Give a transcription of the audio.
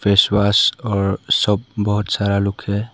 Face wash और सब बहोत सारा लुक है।